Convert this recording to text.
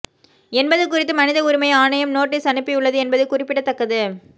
என்பது குறித்து மனித உரிமை ஆணையம் நோட்டீஸ் அனுப்பியுள்ளது என்பது குறிப்பிடத்தக்கது